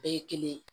Bɛɛ ye kelen ye